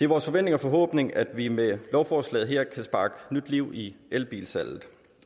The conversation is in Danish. vores forventning og forhåbning at vi med lovforslaget her kan sparke nyt liv i elbilsalget